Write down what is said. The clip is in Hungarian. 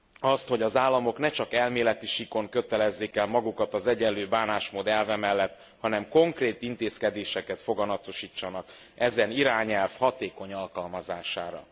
azt, hogy az államok ne csak elméleti síkon kötelezzék el magukat az egyenlő bánásmód elve mellett, hanem konkrét intézkedéseket foganatosítsanak ezen irányelv hatékony alkalmazására.